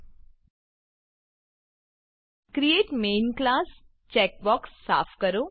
create main class create main class checkbox સાફ કરો